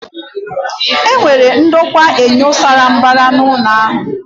E nwere ndokwa enyo sara mbara na ụlọ ahia